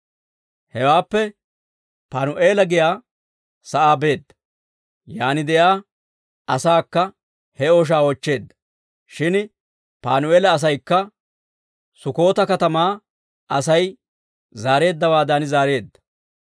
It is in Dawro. Hewaappe Panu'eela giyaa sa'aa beedda; yaan de'iyaa asaakka he ooshaa oochcheedda. Shin Panu'eela asaykka Sukkota katamaa Asay zaareeddawaadan zaareedda.